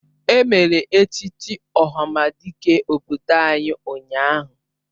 Emere echichi ohamadike obodo anyị ụnyahụ